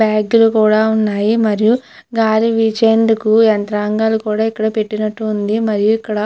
బ్యాగులు కూడా ఉన్నాయి మరియు గాలివీచేందుకు యంత్రాంగాలు కూడా ఇక్కడ పెట్టినట్టు ఉంది. మరియు ఇక్కడ --